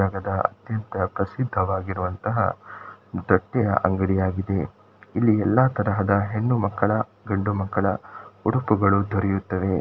ಇಂತಹ ಪ್ರಸಿದ್ಧವಾಗಿರುವಂತಹ ದಟ್ಟೆಯ ಅಂಗಡಿಯಾಗಿದೆ ಇಲ್ಲಿ ಎಲ್ಲಾ ತರದ ಹೆಣ್ಣುಮಕ್ಕಳ ಗಂಡುಮಕ್ಕಳ ಉಡುಪುಗಳು ದೊರೆಯುತ್ತವೆ.